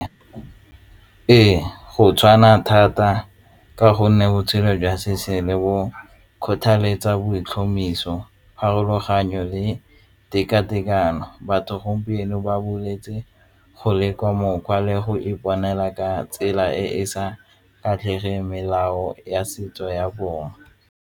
Ee, go tshwana thata ka gonne botshelo jwa se bo kgothaletsa bo ditlhomamiso pharologanyo le teka-tekano batho gompieno ba bolwetse go leka mokgwa le go iponela ka tsela e e sa kgatlhege melao ya setso ya bone.